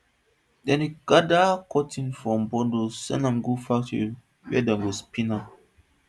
dem dey gather cotton for bundles send am go factory where dem go spin am